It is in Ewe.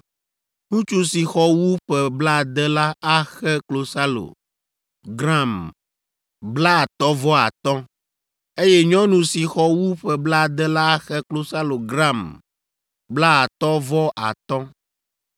Ŋutsu si xɔ wu ƒe blaade la axe klosalo gram blaatɔ̃ vɔ atɔ̃, eye nyɔnu si xɔ wu ƒe blaade la axe klosalo gram blaetɔ̃ vɔ atɔ̃.